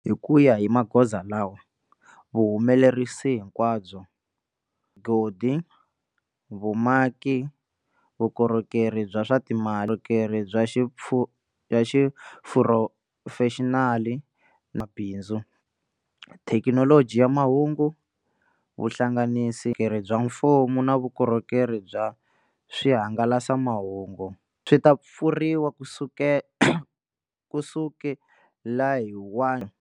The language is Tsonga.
Hi ku ya hi magoza lawa, vuhumelerisi hinkwabyo, godi, vumaki, vukorhokeri bya swa timali, vukorhokeri bya xiphurofexinali mabindzu, thekinoloji ya mahungu, vuhlanganisi, vukorhokeri bya mfumo na vukorhokeri bya swihangalasamahungu, swi ta pfuriwa kusukela hi 1.